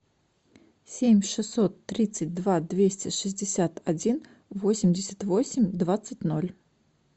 семь шестьсот тридцать два двести шестьдесят один восемьдесят восемь двадцать ноль